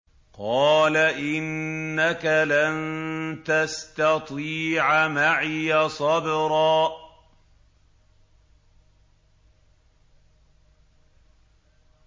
قَالَ إِنَّكَ لَن تَسْتَطِيعَ مَعِيَ صَبْرًا